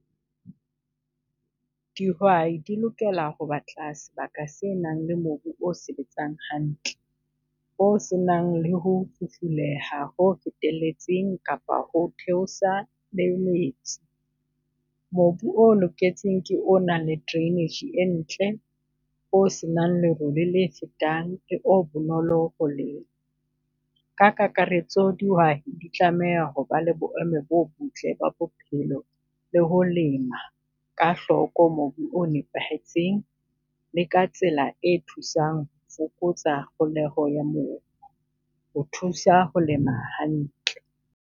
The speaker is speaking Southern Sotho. Dihwai di lokela ho batla sebaka se nang le mobu o sebetsang hantle, o se nang le ho ho feteletseng kapa ho theosa le Mobu o loketseng ke o nang le drainage e ntle, o se nang lerole le fetang o bonolo ho lema. Ka kakaretso dihwai di tlameha hoba le boemo bo botle ba bophelo, le ho lema ka hloko mobu o nepahetseng, le ka tsela e thusang fokotsa holeho ya mobu ho thusa ho lema hantle.